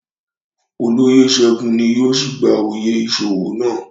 Oloyé Segun ni yóò si gba oyè iṣowo nàa